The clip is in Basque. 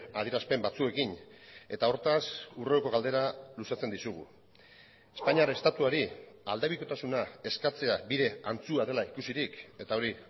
adierazpen batzuekin eta hortaz hurrengo galdera luzatzen dizugu espainiar estatuari aldebikotasuna eskatzea bide antzua dela ikusirik eta hori